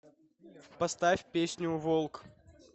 поставь песню волк